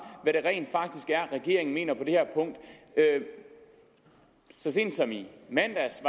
hvad det rent faktisk er regeringen mener om det her punkt så sent som i mandags